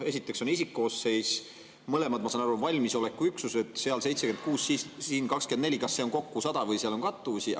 Esiteks on isikkoosseis: mõlemad, ma saan aru, on valmisolekuüksused, seal 76, siin 24 – kas see on kokku 100 või seal on kattuvusi?